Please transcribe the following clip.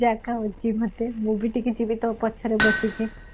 ଜାଗା ହଉଛି ମତେ ମୁଁ ବି ଟିକେ ଯିବି ତୋ ପଛରେ ବସିକି